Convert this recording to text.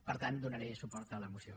per tant donaré suport a la moció